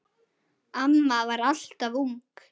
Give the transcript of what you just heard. Amma var alltaf ung.